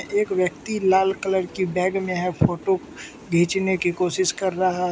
एक व्यक्ति लाल कलर की बैग में है फोटो घिचने की कोशिश कर रहा --